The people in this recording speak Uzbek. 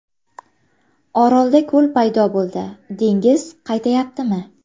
Orolda ko‘l paydo bo‘ldi, dengiz qaytayaptimi?.